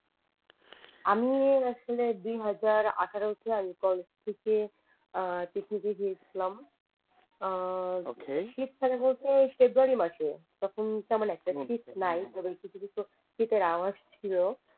আমি আসলে দু হাজার আঠারো তে কলাজ থেকে গিয়েছিলাম শীতকালে বলতে ফেব্রুয়ারি মাসে তখন তেমন একটা শীত নাই শুধু কিছু কিছু শীতের আভাস ছিল